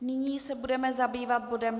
Nyní se budeme zabývat bodem